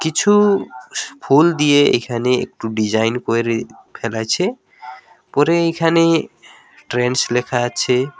কিছু ফুল দিয়ে এখানে একটু ডিজাইন কইরে ফেলেছে পরে এখানে ট্রেনস লেখা আছে।